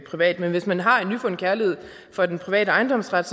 privat men hvis man har en nyfundet kærlighed for den private ejendomsret